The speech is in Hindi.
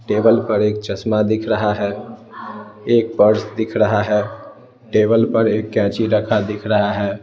टेबल पर एक चश्मा दिख रहा है एक पर्स दिख रहा है टेबल पर एक कैंची रखा दिख रहा है।